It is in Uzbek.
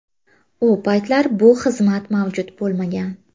U paytlar bu xizmat mavjud bo‘lmagan.